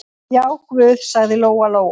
Já, guð, sagði Lóa-Lóa.